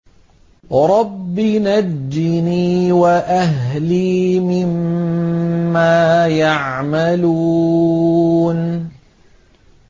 رَبِّ نَجِّنِي وَأَهْلِي مِمَّا يَعْمَلُونَ